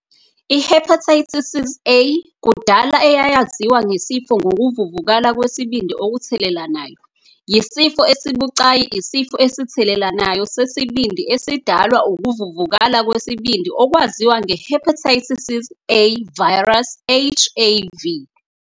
I-Hepatitis A, kudala eyayaziwa ngesifo ngokuvuvukala kwesibindi okuthelelanayo, yisifo sibucayi isifo esithelelanayo sesibindi esidalwa ukuvuvukala kwesibindi okwaziwa nge-hepatitis A virus, HAV.